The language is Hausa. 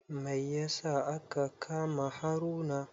Mai yasa aka kama Haruna?